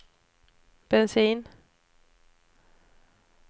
bensin